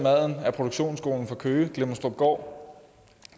af produktionsskolen fra køge klemmenstrupgård og